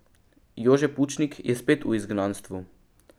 Jože Pučnik je spet v izgnanstvu.